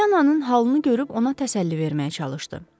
Poliyananın halını görüb ona təsəlli verməyə çalışdı.